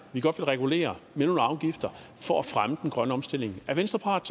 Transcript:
vi godt vil regulere med nogle afgifter for at fremme den grønne omstilling er venstre parat